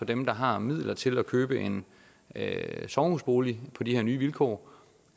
dem der har midler til at købe en sommerhusbolig på de her nye vilkår